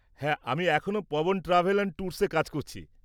হ্যাঁ, আমি এখনো পবন ট্র্যাভেল অ্যান্ড ট্যুরসে কাজ করছি।